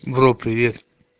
бро привет